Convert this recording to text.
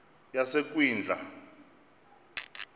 yasekwindla